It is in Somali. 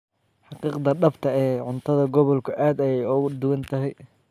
Xaqiiqda dhabta ah ee cuntada gobolku aad ayay uga duwan tahay.